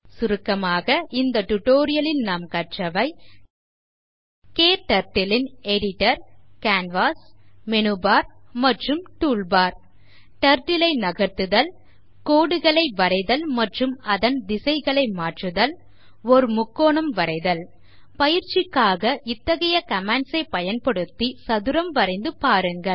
சுருக்கமாக இந்த tutorial ல் நாம் கற்றவை KTurtle ன் எடிட்டர் கேன்வாஸ் மெனுபர் மற்றும் டூல்பார் Turtle ஐ நகர்த்துதல் கோடுகள் வரைதல் அதன் திசைகளை மாற்றுதல் ஓர் முக்கோணம் வரைதல் பயிற்சிக்காக இத்தகைய commands ஐப் பயன்படுத்தி சதுரம் வரைந்து பாருங்கள்